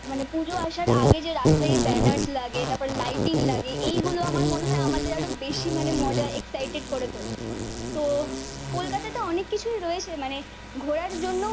মানে পুজো আসার আগে যে রাস্তায় ব্যানার লাগে তারপর লাইটিং লাগে এইগুলো আমার মনে হয় আমাদের আরো বেশি মানে মজার এক্সাইটেড করে তোলে। তো কলকাতাতে অনেক কিছুই রয়েছে মানে ঘোরার জন্য